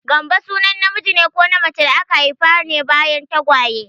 Gambo sunan namiji ko macen da aka haifa ne bayan tagwaye.